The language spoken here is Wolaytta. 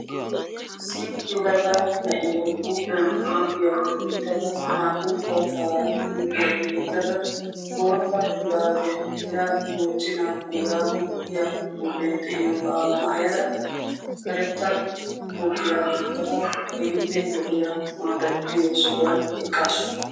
Issi yelaga na'iya ba huuphiya yeddada bootta shurabbiya mochchenna boorago giya xuufiyara eqqaassu.